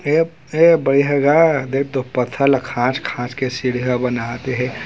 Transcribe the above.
ये बढ़िया गा देखतो पथरा ला खाछ खाछ के सीडिया बनात हे ।